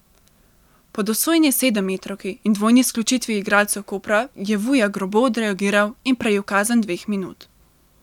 Po dosojeni sedemmetrovki in dvojni izključitvi igralcev Kopra je Vuja grobo odreagiral in prejel kazen dveh minut.